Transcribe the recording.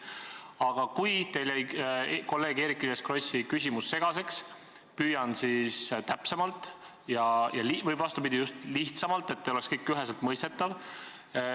Aga kui teile jäi kolleeg Eerik-Niiles Krossi küsimus segaseks, siis ma püüan seda sõnastada täpsemalt või, vastupidi, just lihtsamalt, et teile oleks kõik üheselt mõistetav.